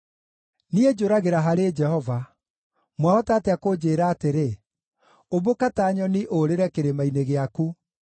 Niĩ njũragĩra harĩ Jehova. Mwahota atĩa kũnjĩĩra atĩrĩ: “Ũmbũka ta nyoni ũũrĩre kĩrĩma-inĩ gĩaku.